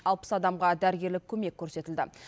алпыс адамға дәрігерлік көмек көрсетілді